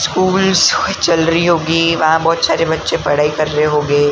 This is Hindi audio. स्कूल जो है चल रही होगी वहां बहोत सारे बच्चे पढ़ाई कर रहे होगे।